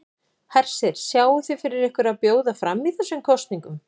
Hersir: Sjáið þið fyrir ykkur að bjóða fram í þessum kosningum?